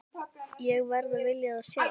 Ég verð að vilja það sjálf.